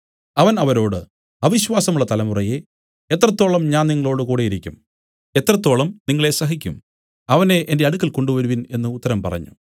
അവൻ അവരോട് അവിശ്വാസമുള്ള തലമുറയേ എത്രത്തോളം ഞാൻ നിങ്ങളോടു കൂടെയിരിക്കും എത്രത്തോളം നിങ്ങളെ സഹിക്കും അവനെ എന്റെ അടുക്കൽ കൊണ്ടുവരുവിൻ എന്നു ഉത്തരം പറഞ്ഞു